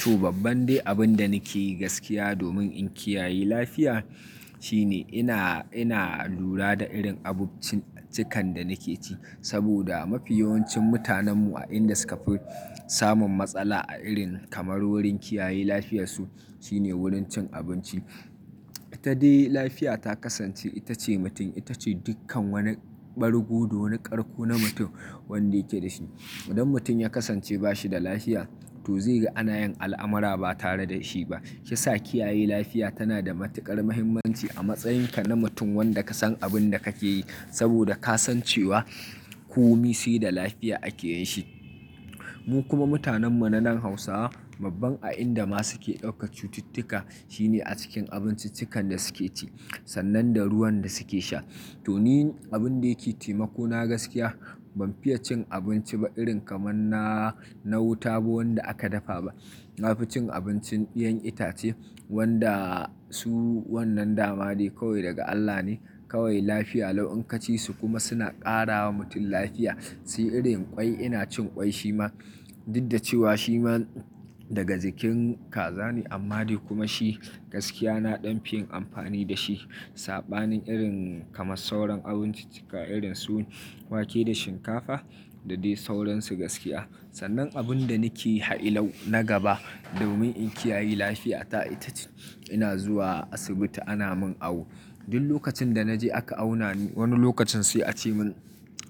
To babban dai abin da nake yi gaskiya domin in kiyaye lafiya shine ina, ina lura da irin abincikan da nake ci saboda mafi yawancin mutanenmu a inda suka fi samun matsala a irin kamar wurin kiyaye lafiyarsu shine wurin cin abinci. Ta dai lafiya ta kasance ita ce mutum, ita ce dukkan wani bargu, wani ƙarƙo na mutum wanda yake da shi. Idan mutum ya kasance ba shi da lafiya to zai ga ana yin al'amara ba tare da shi ba. Ya sa kiyaye lafiya tana da matuƙar mahimmanci a matsayinka na mutum wanda ka san abin da kake yi saboda ka san cewa komai sai da lafiya ake yin shi. Mu kuma mutanen mu na nan Hausawa mabban a inda ma su ke ɗauka cututtuka shine a cikin abinciccikan da suke ci sannan da ruwan da suke sha. To ni abin da yake taimako na gaskiya ban fiya cin abinci ba irin kamar na, na wuta ba wanda aka dafa ba. Na fi cin abincin 'yan itace wanda su wannan dama dai kawai daga Allah ne, kawai lafiya lau'an ka ci su kuma suna ƙara wa mutum lafiya. Sai irin ƙwai ina cin ƙwai shi ma duk da cewa shi ma daga jikin kaza ne amma dai kuma shi gaskiya na ɗan fi yin amfani da shi. Saɓanin irin kamar sauran abincikka irin su wake da shinkafa da dai sauransu gaskiya. Sannan abin da nake hailo na gaba domin in kiyaye lafiya ta ita ce ina zuwa asibiti ana mun awo. Duk lokacin da na je aka auna ni wani lokacin sai a ce mun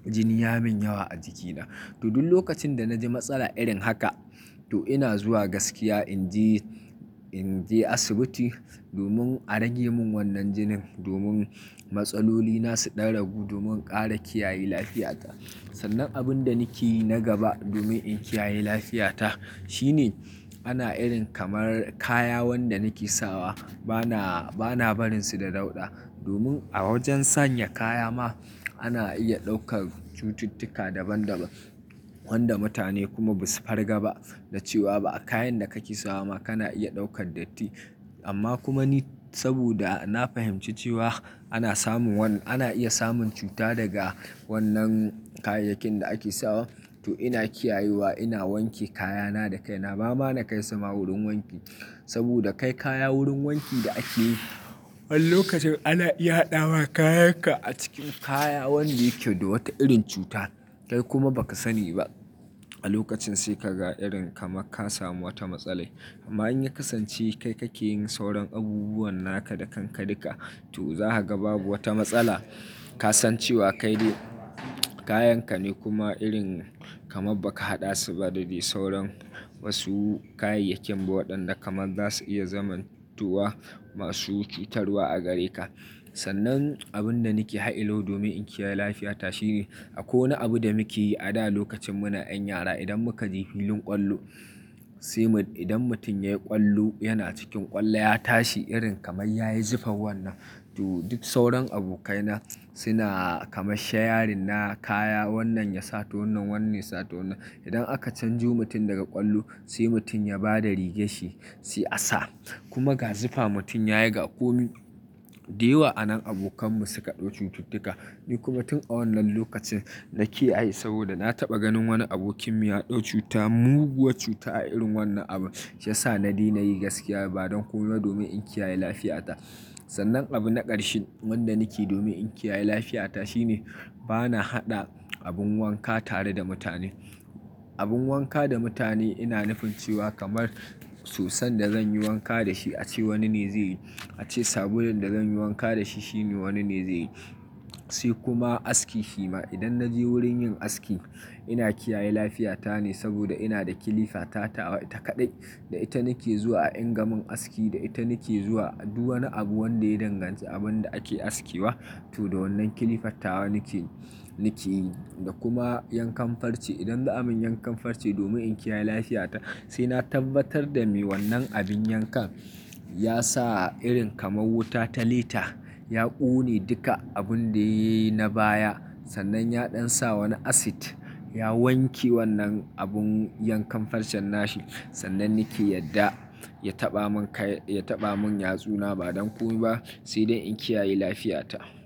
jini ya min yawa a jikina. To duk lokacin da na ji matsala irin haka to ina zuwa gaskiya in je, in je asibiti domin a rage mun wannan jinin, domin matsaloli na su ɗan ragu, domin ƙara kiyaye lafiyata. Sannan abin da nake yi na gaba domin in kiyaye lafiyata shine ana irin kamar kaya wanda nake sawa bana, bana barin su da dauɗa. Domin a wajen sanya kaya ma ana iya ɗaukar cututtuka daban daban wanda mutane kuma ba su farga ba da cewa ba a kayan da kake sawa ma kana iya ɗaukar datti. Amma kuma ni saboda na fahimci cewa ana samun wan-- ana iya samun cuta daga wannan kayayyakin da ake sawa to ina kiyayewa ina wanke kayana da kai. Na ba ma na kai sama wurin wanki saboda kai kaya wurin wanki da ake yi, wani lokacin ana iya haɗawa kayanka a cikin kaya wanda yake da wata irin cuta kai kuma ba ka sani ba. A lokacin sai ka ga irin kamar ka samu wata matsala. Amma in ya kasance kai kake yin sauran abubuwan naka da kanka duka to za ka ga babu wata matsala. Ka san cewa kai dai kayanka ne kuma irin kamar ba ka haɗa su ba da dai sauran wasu kayayyakin ba waɗanda kamar za su iya zamantuwa masu cutarwa a gare ka. Sannan abin da nake hailo domin in kiyaye lafiyata shine a kowane abu da muke yi a da lokacin muna 'yan yara idan muka ji filin ƙwallo sai mu idan mutum ya yi ƙwallo yana cikin ƙwallo ya tashi irin kamar ya yi zufar wannan. To duk sauran abokaina suna kamar shayarina kaya wannan ya sata wannan, wannan ya sata wannan. Idan aka canjo mutum daga ƙwallo sai mutum ya ba da rigar shi sai a sa. Kuma ga zufa mutum ya yi ga komai. Dai wa'anan abokanmu suka ɗau cututtuka. Ni kuma tun a wannan lokacin nakiyaye saboda na taɓa ganin wani abokinmu ya ɗau cuta, muguwar cuta a irin wannan abu. Ya sa na daina yi gaskiya ba don komai domin in kiyaye lafiyata. Sannan abu na ƙarshe wanda nake yi domin in kiyaye lafiyata shine bana haɗa abin wanka tare da mutane. Abin wanka da mutane ina nufin cewa kamar soson da zan yi wanka da shi a ce wani ne zai yi, a ce sabulun da zan yi wanka da shi shine wani ne zai yi. Sai kuma aski shi ma idan na je wurin yin aski ina kiyaye lafiyata ne saboda ina da kilifa ta tawa ta kaɗai da ita nake zuwa ingamin aski, da ita nake zuwa duwani abu wanda ya danganci abin da ake askewa. To da wannan kilifar tawa nake, nake yi. Da kuma yankan farce idan ba a min yankan farce domin in kiyaye lafiyata sai na tabbatar da me wannan abin yankan ya sa irin kamar wuta ta lita, ya ƙone duka abun da yayi na baya sannan ya ɗan sa wani asid ya wanke wannan abun yankan farcen nashi sannan nake yadda ya taɓa mun kai, ya taɓa mun yatsuna ba don komai ba sai dai in kiyaye lafiyata.